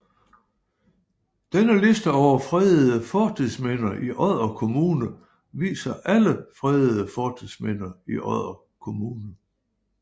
Denne liste over fredede fortidsminder i Odder Kommune viser alle fredede fortidsminder i Odder Kommune